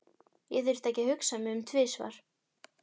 Ég þurfti ekki að hugsa mig um tvisvar.